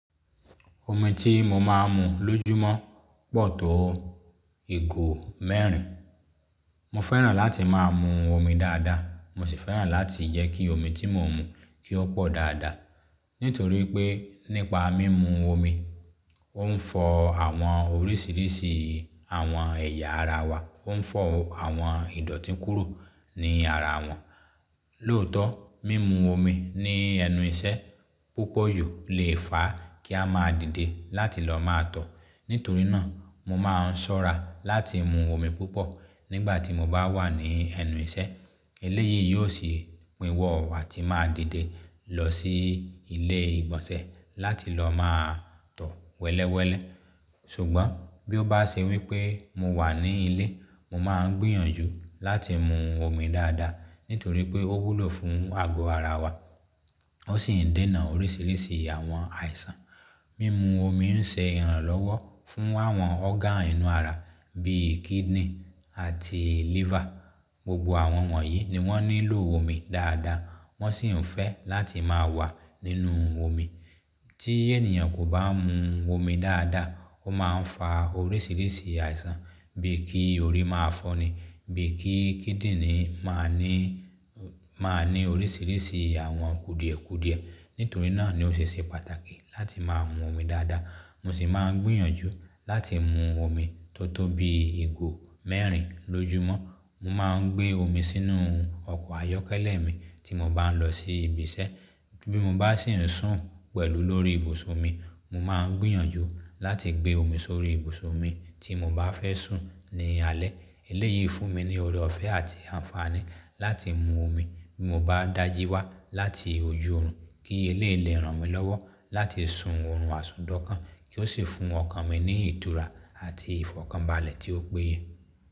Omi tí mo máa ń mu lójúmọ́ pọ̀ tó ìgò mẹ́rin. Mo fẹ́ràn láti máa mu omi dáadáa, mo sì fẹ́ràn láti jẹ́ kí omi tí mo ń mu kí ó pọ̀ dáadáa. Nítorí pé nípa mímu omi, ó ń fọ àwọn oríṣiríṣi àwọn ẹ̀yà ara wa, ó ń fọ àwọn ìdọ̀tí kúrò ní ara wọn. Lóòótọ́, mímu omi ní ẹnu ìṣẹ́ púpọ̀ ju lè fà á kí a máa dìde láti lọ máa tọ̀. Nítorí náà, mo máa ń ṣọ́ra láti mu omi púpọ̀ nígbà tí mo bá wà ní ẹnu ìṣẹ́. Eléyìí yóò sì pínwọ́ a tí màá dìde lọ sí ilé ìgbọ̀nsẹ̀ láti lọ máa tọ̀ wẹ́lẹ́wẹ́lẹ́. Ṣùgbọ́n bí ó bá ṣe wípé mo wà ní ilé, mo máa ń gbìyànjú láti mu omi dáadáa. Nítorí pé ó wúlò fún àgọ́ ara wa, ó sì ń dènà oríṣiríṣi àwọn àìsàn. Mímu omi ń ṣe ìrànlọ́wọ́ fún àwọn ọ́rgán inú ara bí i kidney àti liver. Gbogbo àwọn wọ̀nyí ni wọ́n nílò omi dáadáa, wọ́n sì ń fẹ́ láti máa wà nínú omi. Tí ènìyàn kò bá ń mu omi dáadáa, ó máa ń fa oríṣiríṣi àìsàn bíi kí orí máa fọ́ni, bíi kí kidney máa ní, máa ní oríṣiríṣi àwọn kùdìẹ̀kùdìẹ. Nítorí náà ni ó ṣe ṣe pàtàkì láti máa mu omi dáadáa. Mo sì máa ń gbìyànjú láti mu omi tó tó bí ìgò mẹ́rin lójúmọ́. Mo máa ń gbé omi sínú ọkọ̀ ayọ́kẹ́lẹ́ mi tí mo bá ń lọ sí ibiṣẹ́. Bí mo bá sì ń sùn pẹ̀lú lórí ibùsùn mi, mo máa ń gbìyànjú láti gbé omi sórí ìbùsùn mi tí mo bá fẹ́ sùn ní alẹ́. Eléyìí fún mi ní ọre ọ̀fẹ́ àti àǹfààní láti mu omi bí mo bá dàjí wá láti ojú òòrùn, kí elèyii lẹ́ ran mi lọ́wọ́ láti sun òòrùn àsúndọ̀kan kí ó sì fún ọkàn mi ní ìtura àti ìfọ̀kànbalẹ̀ tí ó péye.